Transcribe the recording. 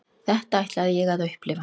Þetta ætlaði ég að upplifa.